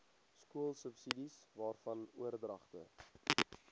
skoolsubsidies waarvan oordragte